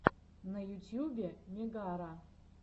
на ютубе мегара